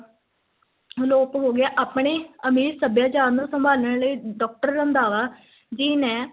ਅਲੋਪ ਹੋ ਗਿਆ, ਆਪਣੇ ਅਮੀਰ ਸੱਭਿਆਚਾਰ ਨੂੰ ਸੰਭਾਲਨ ਲਈ doctor ਰੰਧਾਵਾ ਜੀ ਨੇ,